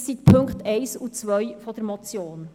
Das sind die Punkte 1 und 2 der Motion.